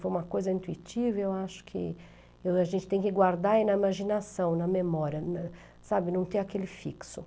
Foi uma coisa intuitiva, eu acho que a gente tem que guardar aí na imaginação, na memória, sabe, não ter aquele fixo.